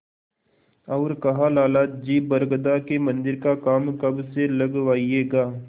और कहालाला जी बरगदा के मन्दिर का काम कब से लगवाइएगा